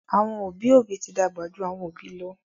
àwọn obì obì tí dàgbà jù àwọn obì lọ